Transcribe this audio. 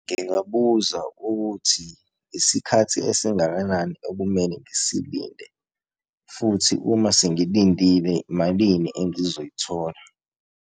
Ngingabuza ukuthi isikhathi esingakanani ekumele ngisilinde, futhi uma sengilindile malini engizoyithola.